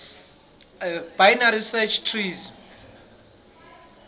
binary search trees